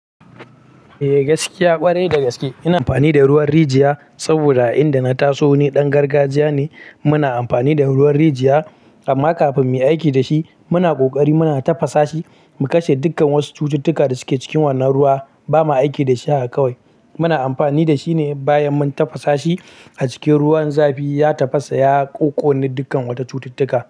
Eh gaskiya ƙwarai dagaske ina amfani da ruwan rijiya saboda a inda na taso ni dan gargajiya ne muna amfani da ruwan rijiya amma kafin mu yi aiki da shi muna ƙoƙari muna tafasa shi mu kashe dukkan wasu cututtuka da suke cikin wannan ruwa bamu aiki da shi haka kawai muna amfani da shi ne bayan mun tafasa shi a cikin ruwan zafi ya tafasa ya ƙokone dukkan wata cututtuka.